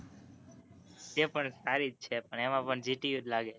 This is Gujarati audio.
એ પણ સારી જ છે પણ એમાં પણ gtu જ લાગે